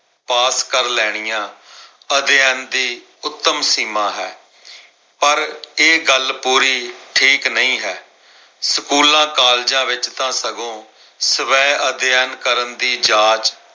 ਪਾਸ ਕਰ ਲੈਣੀਆਂ ਅਧਿਐਨ ਦੀ ਉੱਤਮ ਸੀਮਾਂ ਹੈ। ਪਰ ਇਹ ਗੱਲ ਪੂਰੀ ਠੀਕ ਨਹੀਂ ਹੈ। ਸਕੂਲਾਂ, ਕਾਲਜਾਂ ਵਿੱਚ ਤਾਂ ਸਗੋਂ ਸਵੈ ਅਧਿਐਨ ਕਰਨ ਦੀ ਜਾਚ